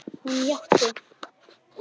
Hún játti.